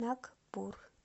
нагпур